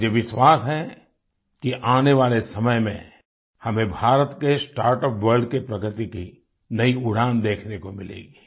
मुझे विश्वास है कि आने वाले समय में हमें भारत के स्टार्टअप वर्ल्ड के प्रगति की नई उड़ान देखने को मिलेगी